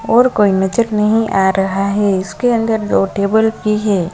और कोई नजर नहीं आ रहा है इसके अंदर दो टेबल ही है।